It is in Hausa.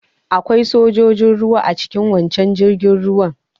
Akwai sojojin ruwa a cikin waccan jirgin ruwan.